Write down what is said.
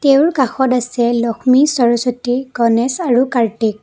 তেওঁৰ কাষত আছে লক্ষ্মী সৰস্বতী গণেশ আৰু কাৰ্তিক ।